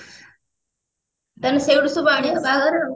ମାନେ ସେଇଠୁ ସବୁ ଆଣିବ ବାହାଘରରେ ଆଉ